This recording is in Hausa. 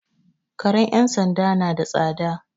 Karen 'yan sanda na da tsada.